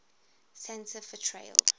santa fe trail